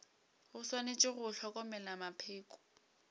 go swanetše go hlokomelwa mapheko